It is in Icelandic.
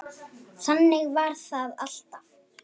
Þannig var það alltaf.